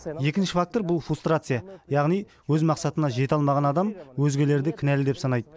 екінші фактор бұл фрустрация яғни өз мақсатына жете аламаған адам өзгелерді кінәлі деп санайды